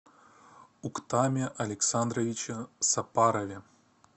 уктаме александровиче сапарове